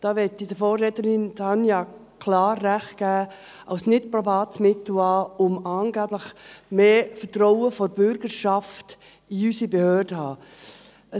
da möchte ich der Vorrednerin Tanja Bauer klar recht geben – als nicht probates Mittel an, um angeblich mehr Vertrauen der Bürgerschaft in unsere Behörden zu haben.